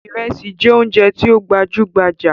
Ìrẹsí jẹ oúnjẹ tí ó gbajú gbajà.